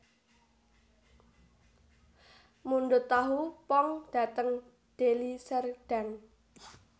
Mundhut tahu pong dhateng Deli Serdang